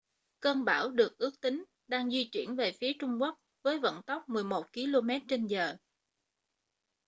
cơn bão được ước tính đang di chuyển về phía trung quốc với vận tốc 11 km/giờ